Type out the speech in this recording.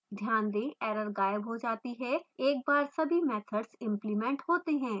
ध्यान दें error गायब हो जाती है एक बार सभी मैथड्स इंप्लिमेंट होते हैं